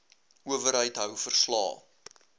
owerheid hou verslae